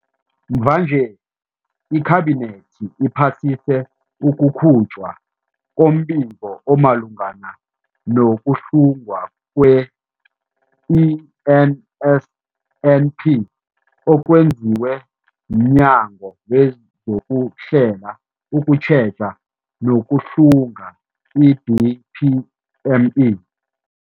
Mvanje, iKhabinethi iphasise ukukhutjhwa kombiko omalungana nokuhlungwa kwe-NSNP okwenziwe mNyango wezokuHlela, ukuTjheja nokuHlunga, i-DPME.